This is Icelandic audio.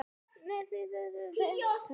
Vestur á Nes, takk!